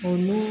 O nun